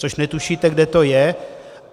Což netušíte, kde to je.